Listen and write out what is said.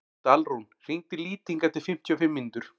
Dalrún, hringdu í Lýting eftir fimmtíu og fimm mínútur.